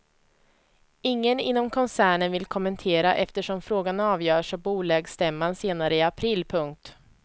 Ingen inom koncernen vill kommentera eftersom frågan avgörs av bolagsstämman senare i april. punkt